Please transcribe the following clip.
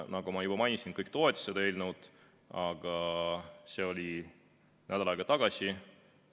Nagu ma juba mainisin, siis kõik toetasid seda eelnõu, aga see oli nädal aega tagasi.